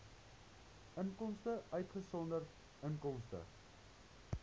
inkomste uitgesonderd inkomste